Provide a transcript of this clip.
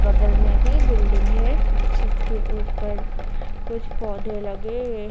बगल में भी बिल्डिंग है जिसके ऊपर कुछ पौधे लगे हुए--